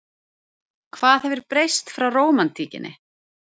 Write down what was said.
Hvað hefur breyst frá rómantíkinni?